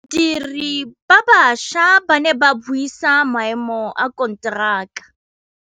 Badiri ba baša ba ne ba buisa maêmô a konteraka.